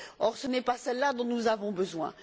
Or ce n'est pas de cela dont nous avons besoin.